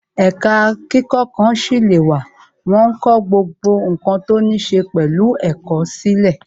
Ẹ̀ka kíkọ ǹkan sílè wà wọn ń kọ gbogbo ǹkan tó ní ṣe pẹ̀lú ẹ̀kọ́ sílè